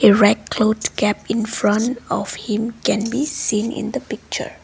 red cloth cap in front of him can be seen in the picture.